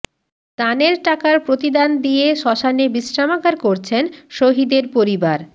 দানের টাকার প্রতিদান দিয়ে শ্মশানে বিশ্রামাগার করছেন শহিদের পরিবার